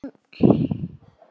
Grípur um blómin.